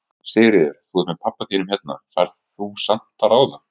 Sigríður: Þú ert með pabba þínum hérna, færð þú samt að ráða?